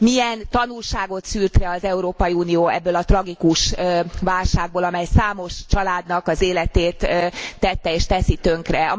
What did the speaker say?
Milyen tanulságot szűrt le az Európai Unió ebből a tragikus válságból, amely számos családnak az életét tette és teszi tönkre.